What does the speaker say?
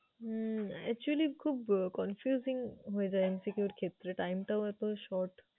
হুম actually খুব confusing হয়ে যায় MCQ র ক্ষেত্রে, time টাও এত short ।